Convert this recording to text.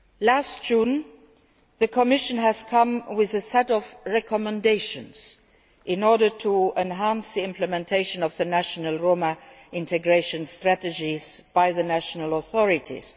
Last June the Commission came with a set of recommendations in order to enhance the implementation of the national Roma integration strategies by the national authorities.